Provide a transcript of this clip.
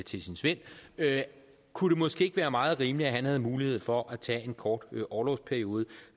til sin svend kunne det måske ikke være meget rimeligt at han havde mulighed for at tage en kort orlovsperiode